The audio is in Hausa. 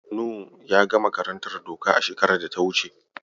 Nu yaga karantar doka shekarar da ta wuce.